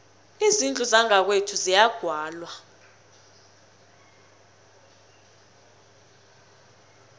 izindlu zangakwethu ziyagwalwa